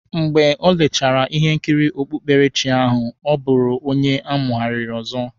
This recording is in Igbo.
Mgbe o lechara ihe nkiri okpukperechi ahụ, ọ bụrụ onye amụghariri ọzọ